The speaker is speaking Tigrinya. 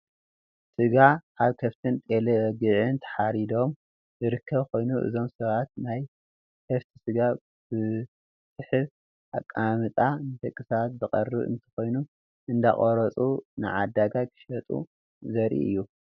ስጋ ካብ ከፍትን ጤሌበግዒን ተሓሪዶም ዝርከብ ኮይኑ እዞም ሰባት ናይ ከፍቲ ስጋ ብዝስሕብ ኣቃማምጣ ንደቂ ሰባት ዘቅርቡ እንትኮኑ እንዳቆሮፁ ንዓዳጋይ ክሸጡ ዘርኢ እዩ።